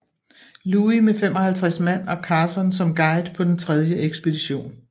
Louis med 55 mand og Carson som guide på den tredje ekspedition